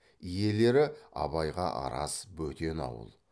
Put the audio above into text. иелері абайға араз бөтен ауыл